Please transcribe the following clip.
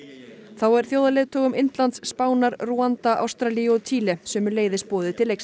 þá er þjóðarleiðtogum Indlands Spánar Rúanda Ástralíu og Chile sömuleiðis boðið til leiks